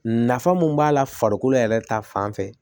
Nafa mun b'a la farikolo yɛrɛ ta fan fɛ